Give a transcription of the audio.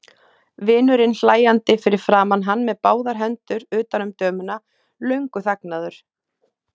Vinurinn hlæjandi fyrir framan hann með báðar hendur utan um dömuna, löngu þagnaður.